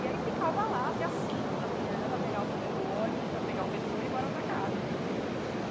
E aí ficava lá até as cinco da manhã para pegar o primeiro ônibus, para pegar o metrô e bora para casa, né?